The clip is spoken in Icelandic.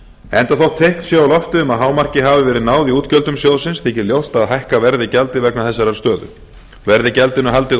enda þótt teikn séu á lofti um að hámarki hafi verið náð í útgjöldum sjóðsins þykir ljóst að hækka verði gjaldið vegna þessarar stöðu verði gjaldinu haldið